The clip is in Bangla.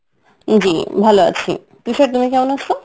জী ভালো আছি, তুষার তুমি কেমন আছে৷?